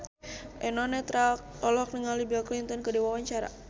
Eno Netral olohok ningali Bill Clinton keur diwawancara